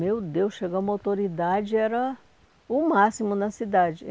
Meu Deus, chegar uma autoridade era o máximo na cidade.